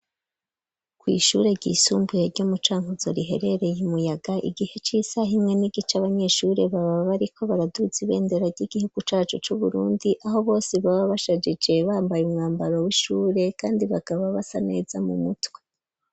Kw' ishure ry'isumbuye ryo mucankuzo riherereye imuyaga, igihe c'isaha imwe n'igice ,abanyeshure baba bariko baraduza ibendera ry'igihugu cacu c'uburundi ,aho bose baba bashajije bambaye umwambaro w'ishure, kandi bakaba basa neza mu mutwe.